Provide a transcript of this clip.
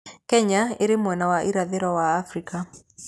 Kenya ĩrĩ mwena wa irathĩro wa Afrika.